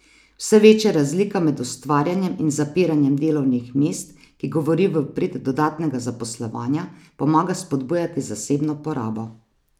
Vse večja razlika med ustvarjanjem in zapiranjem delovnih mest, ki govori v prid dodatnega zaposlovanja, pomaga spodbujati zasebno porabo.